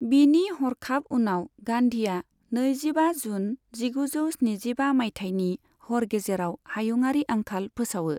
बिनि हरखाब उनाव, गान्धीआ नैजिबा जुन जिगुजौ स्निजिबा मायथाइनि हर गेजेराव हायुंआरि आंखाल फोसावो।